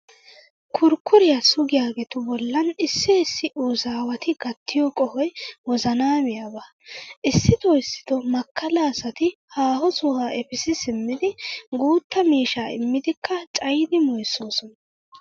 Kurkkuriya sugiyageetu bollan issi issi uzaawati gattiyo qohoy wozanaa miyaba. Issitoo issitoo makkala asati haaho sohuwa efissi simmidi guutta miishshaa immidikka cayiiddi moyssoosona.